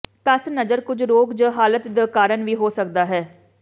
ਧੱਸ ਨਜ਼ਰ ਕੁਝ ਰੋਗ ਜ ਹਾਲਾਤ ਦੇ ਕਾਰਨ ਵੀ ਹੋ ਸਕਦਾ ਹੈ